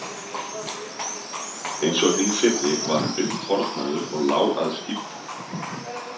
Eins og hinir fyrri var hann uppþornaður og lá að stíflu.